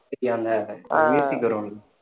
அந்த வரும்ல